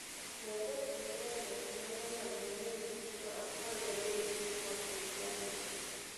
Gazet ma mbele manolando ni nyithindo apargadek nothoo e ajali no.